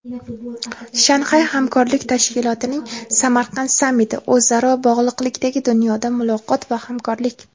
Shanxay hamkorlik tashkilotining Samarqand sammiti: o‘zaro bog‘liqlikdagi dunyoda muloqot va hamkorlik.